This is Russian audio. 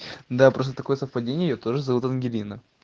да просто такое совпадение я тоже зовут ангелина